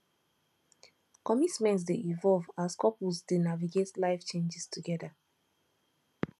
commitment dey evolve as couples dey navigate life changes together